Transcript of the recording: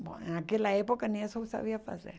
Bom, naquela época nem isso eu sabia fazer.